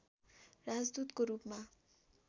राजदूतको रूपमा